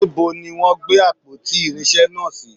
Níbo ni wọn gbé àpótí irinsé náà si?